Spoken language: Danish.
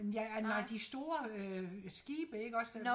Ja nej de store øh skibe ikke også øh